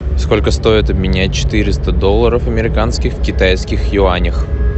сколько стоит обменять четыреста долларов американских в китайских юанях